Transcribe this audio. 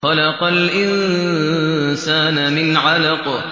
خَلَقَ الْإِنسَانَ مِنْ عَلَقٍ